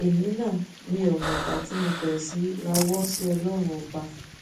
èmi náà mi ò mọgbà tí mo bẹrẹ sí í rawọ sí ọlọrun ọba